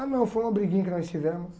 Ah não, foi uma briguinha que nós tivemos.